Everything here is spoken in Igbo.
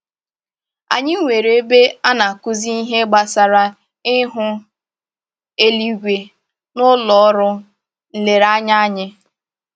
Anyị nwere ebe a na-akụzi ihe gbasara ihu eluigwe n'ụlọ ọrụ nlereanya anyị